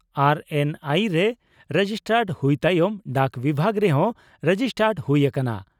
RNI ᱨᱮ registered ᱦᱩᱭ ᱛᱟᱭᱚᱢ ᱰᱟᱠ ᱵᱤᱵᱷᱟᱜᱽ ᱨᱮᱦᱚᱸ ᱨᱮᱡᱤᱥᱴᱟᱰ ᱦᱩᱭ ᱟᱠᱟᱱᱟ ᱾